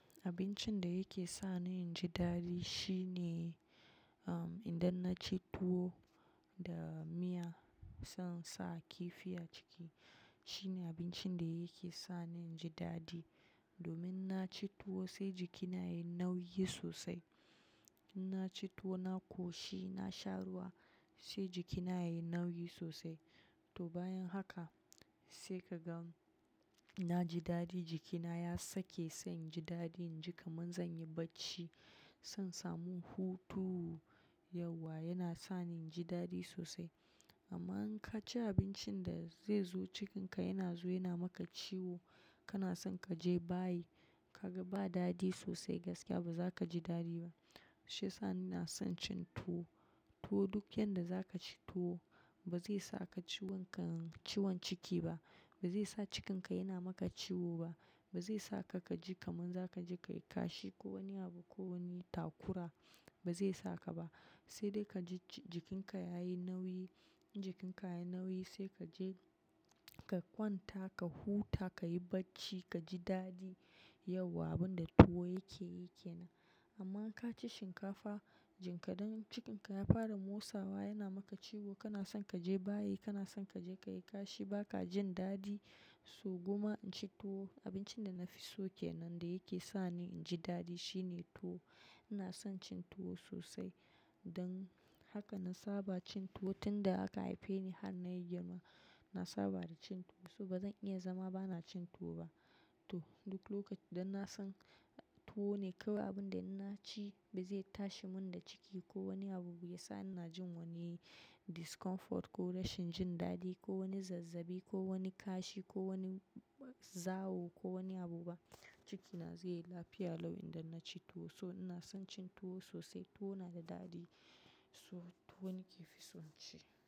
Abincin da yake sa ni in ji daɗi shine, um, idan na ci tuwo da miya, sai in sa kifi a ciki. Shine abincin da yake sa ni in ji daɗi. Domin na ci tuwo sai jikina yayi nauyi sosai. In na ci tuwo, na ƙoshi, na sha ruwa sai jikina yayi nauyi sosai. To bayan haka sai ka gan na ji daɗi jikina ya sake, sai in ji daɗi in ji kamar zan yi bacci. Sai in samu hutu yawwa yana sa ni in ji daɗi sosai. Amma in ka ci abincin da zai zo cikinka yana zuwa yana maka ciwo, kana son ka je bayi. Kaga ba daɗi sosai gaskiya ba za ka ji daɗi ba. Shi ya sa ina son cin tuwo. Tuwo duk yanda za ka ci tuwo ba zai saka ciwon ka-ciwon ciki ba, ba zai sa cikinka yana maka ciwo ba, ba zai saka ka ji kaman za ka je ka yi kashi ko wani abu ko wani takura ba zai saka ba. Sai dai ka ji jikinka yayi nauyi. In jikinka yayi nauyi sai ka je ka kwanta ka huta, ka yi bacci, ka ji daɗi yauwa. Abin da tuwo yake yi ke nan. Amma in ka ci shinkafa jinka dan cikinka ya fara motsawa yana maka ciwo kana son ka je bayi, kana son ka je ka yi kashi ba ka jin daɗi. So Gwamma in ci tuwo abincin da na fi so kenan da yake sa ni in ji daɗi shine tuwo. Ina son cin tuwo sosai. Don haka na saba cin tuwo tun da aka haife ni har na yi girma. Na saba da cin tuwo so ba zan iya zama ba na cin tuwo ba. To duk lokaci dan na san tuwo ne kawai abin da na ci ba zai tashi mun da ciki ko wani abu ya sa ina jin wani discomfort ko rashin jin daɗi ko wani zazzabi ko wani kashi ko wani zawo ko wani abu ba. Cikina zai yi lafiya lau idan na ci tuwo. So ina son cin tuwo sosai. Tuwo na da daɗi. So tuwo ne ke fi son ci.